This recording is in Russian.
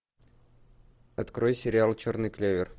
открой сериал черный клевер